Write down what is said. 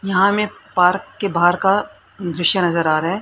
यहा हमे पारक के बाहर का दृश्य नजर आ रहा है।